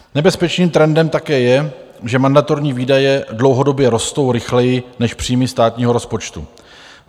Nebezpečným trendem také je, že mandatorní výdaje dlouhodobě rostou rychleji než příjmy státního rozpočtu.